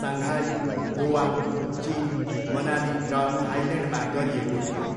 Shanghai, Goa, चिन, मनाली र थाइल्यान्डमा गरिएको थियो।